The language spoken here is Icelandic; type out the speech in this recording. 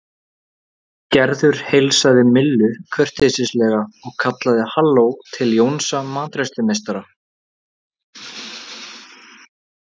Gerður heilsaði Millu kurteislega og kallaði halló til Jónsa matreiðslumeistara.